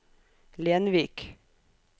Lenvik